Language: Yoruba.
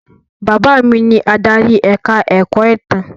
Bàbá mi ni adarí ẹ̀ka-ẹ̀kọ́ ìtàn.